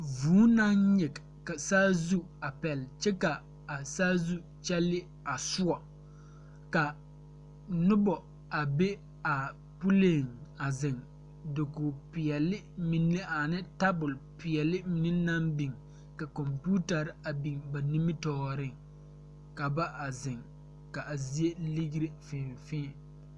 Vūū naŋ nyige ka saazu a pɛle kyɛ ka a saazu kyɛlee a soɔ ka nobɔ a be a puleeŋ a ziŋ dokoge peɛle mine ane tabole peɛle mine naŋ biŋ ka kɔmpiutarre a biŋ ba nimitooreŋ ka ba a zeŋ ka a zie ligre fēē fēē.